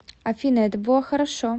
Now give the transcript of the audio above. афина это было хорошо